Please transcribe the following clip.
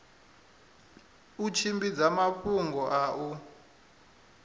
u tshimbidza mafhungo a u